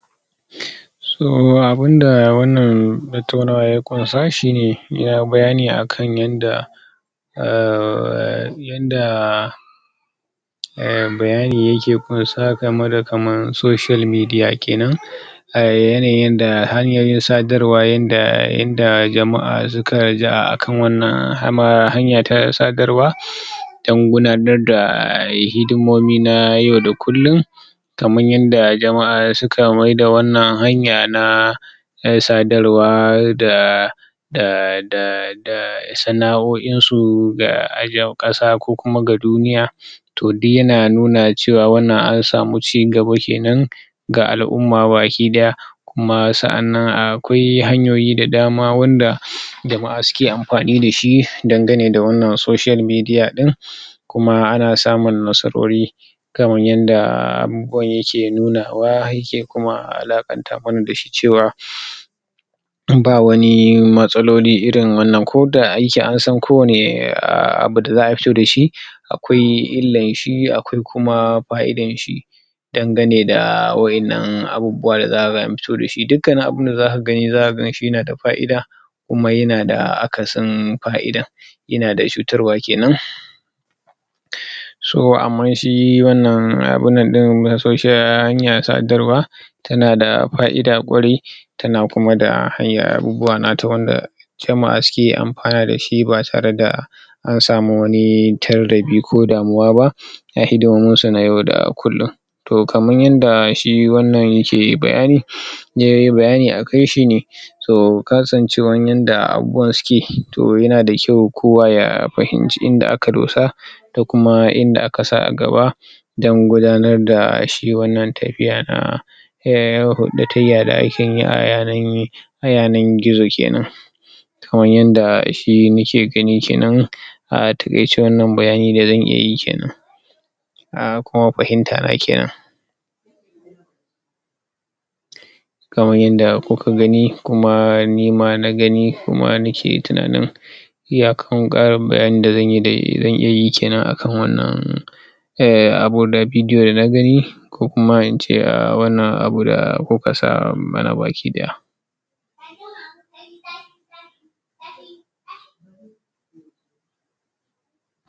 Abinda wannan tattaunawar ya ƙunsa shine bayani akan yanda um yanda um bayani yake ƙunsa gameda kamar social media kenan a yanayin yadda hanyoyin sadarwa yanda, yanda jama'a suka raja'a akan wannan hanya ta sadarwa don gudanarda hidimomi na yau da kullum kamar yadda jama'a suka maida wannan hanya na na sadrwaa da da, da sana'o'insu ga ƴan ko kuma ga duniya to duk yana nuna cewa wannan an samu cigaba kenan ga al'umma baki ɗaya kuma sa'annan akwai hanyoyi da dama wanda jama'a suke amfani dashi dangane da wannan social media din kuma ana samun nasarori kan yanda abubuwan yake nunawa yake kuma alaƙanta wani dashi cewa ba wani matsaloli irin wannan koda aiki ansan kowanne abu da za'a fito dashi akwai illanshi akwai kuma fa'idanshi dangane da waƴannan abubuwa da za'a fito dashi, dukkan abunda zaka gani zaka ganshi yanada fa'ida kuma yanada akasin fa'idan. Yanada cutarwa kenan so amman shi wannan abun nan ɗin na social, hanyan sadarwa tanada fa'ida kwarai tan kuma da hanyar abubuwa nata wanda jama'a suke amfana dashi ba tareda an sami wani tardabi ko damuwa ba na hidumunsu na yau da kullum. To kaman yanda shi wannan yake bayani yayi bayani akai shine so, kasancewan yanda abubuwan suke to yanada kyau kowa ya fahimci inda aka dosa da kuma inda aka sa a gaba don gudanarda shi wannan tafiya na na hurɗatayya da akeyi a yanan a yanan gizo kenan kaman yanda shi muke gani kenan a taƙaice wannan bayani da zan iya yi kenan a kuma fahimtana kenan. Kaman yanada kuka gani kuma nima na gani kuma nak tunanin iyakar ƙarin bayanin da zanyi, da zan iyayi akan wannan abu, video dana gani ko kuma ince wannan abu da kuka sa mana baki ɗaya.